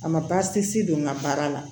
A ma baasi si don n ga baara la